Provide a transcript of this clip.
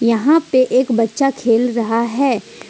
यहां पर एक बच्चा खेल रहा है।